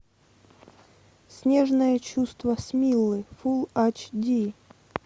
снежное чувство смиллы фул айч ди